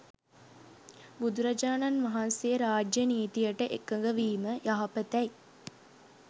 බුදුරජාණන් වහන්සේ රාජ්‍ය නීතියට එකඟවීම යහපතැ යි